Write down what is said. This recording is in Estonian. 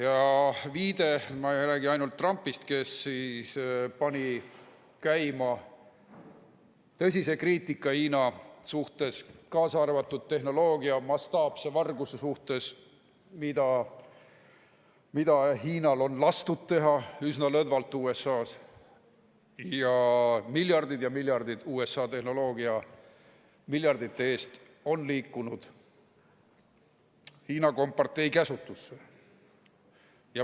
Ma ei räägi ainult Trumpist, kes pani käima tõsise kriitika Hiina suhtes, kaasa arvatud tehnoloogia mastaapse varguse suhtes, mida Hiinal on lastud teha üsna lõdvalt USA-s, nii et miljardite eest USA tehnoloogiat on liikunud Hiina kompartei käsutusse.